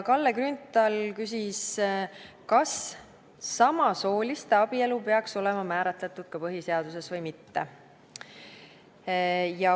Kalle Grünthal küsis, kas samasooliste abielu peaks olema määratletud põhiseaduses või mitte.